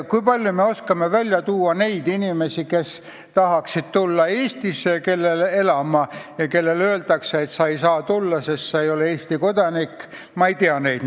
Kui palju me teame inimesi, kes tahaksid tulla Eestisse elama ja kellele öeldakse, et nad ei saa tulla, sest nad ei ole Eesti kodanikud?